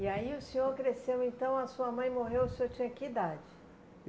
E aí o senhor cresceu então, a sua mãe morreu, o senhor tinha que idade?